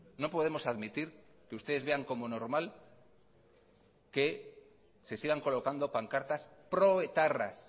no podemos admitir que ustedes vean como normal que se sigan colocando pancartas proetarras